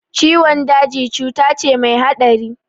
Ciwon daji cuta ce mai haɗari